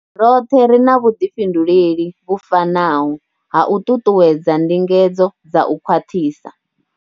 Roṱhe ri na vhuḓifhinduleli vhu fanaho ha u ṱuṱuwedza ndingedzo dza u khwaṱhisa.